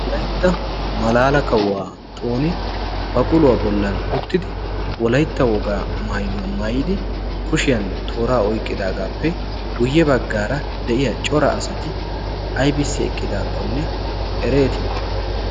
wolaytta malaala kawuwaa xooni ba quluwaa bollan uttidi wolaytta wogaa maayuwaa maayidi kushiyan tooraa oyqqidaagaappe guyye baggaara de'iya cora asati aibissi eqqidaakkonne ereetii